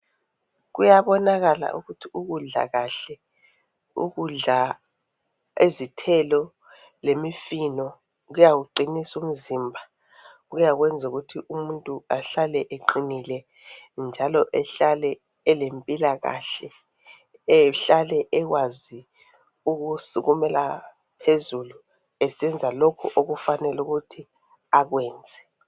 Kuyabonakala ukuthi ukudla kahle ukudla izithelo lemifino kuyawuqinisa umzimba kuyakwenza ukuthi umuntu ahlale eqinile njalo ehlale elempilakahle ehlale ekwazi ukusukumela phezulu esenza lokhu okufanele ukuthi akwenze.